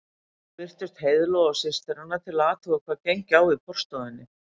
Nú birtust Heiðló og systir hennar til að athuga hvað gengi á í forstofunni.